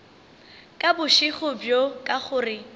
ka bošego bjo ka gore